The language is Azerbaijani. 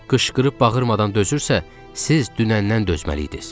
Qışqırıb bağırmadan dözürsə, siz dünəndən dözməliydiz.